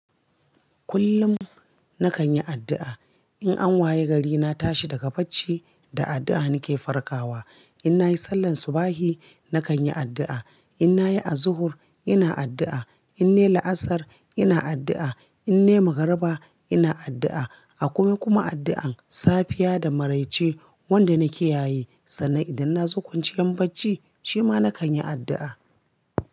Kullum nakan yi addu'a. In an waye gari, na tashi daga bacci, da addu'a nake farkawa. In nayi sallar subahi, nakan yi addu'a. In nayi azuhur, ina addu'a. In nayi laasar, ina addu'a. In nayi magariba, ina addu'a. Akwai kuma addu'an safiya da maraice wanda nakiyaye. Sannan idan na zo kwanciyan bacci, shima nakan yi addu'a.